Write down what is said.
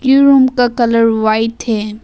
ये रूम का colour white है।